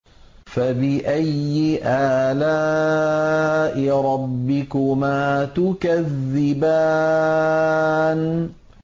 فَبِأَيِّ آلَاءِ رَبِّكُمَا تُكَذِّبَانِ